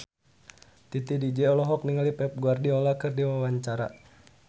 Titi DJ olohok ningali Pep Guardiola keur diwawancara